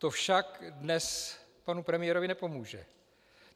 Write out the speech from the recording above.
To však dnes panu premiérovi nepomůže.